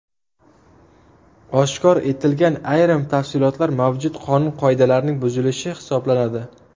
Oshkor etilgan ayrim tafsilotlar mavjud qonun-qoidalarning buzilishi hisoblanadi.